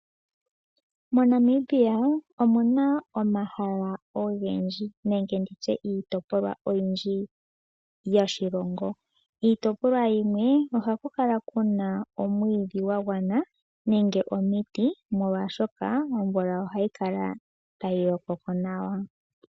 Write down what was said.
MoNamibia omu na omahala ogendji nenge nditye iitopolwa oyindji yoshilongo. Iitopolwa yimwe oha ku kala kuna omwiidhi gwa gwana nenge onete molwashoka omvula oha yi kala tayi lokoko nawa.